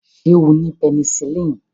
Ṣé ó ni pẹnisilini?